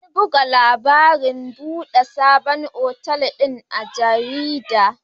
An buga labarin buɗe sabon otal din a jarida.